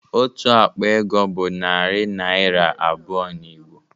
Otu akpa ego bụ narị naịra abụọ n'Igbo